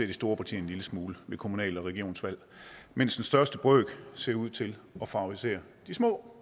de store partier en lille smule ved kommunale og regionale valg mens den største brøk ser ud til at favorisere de små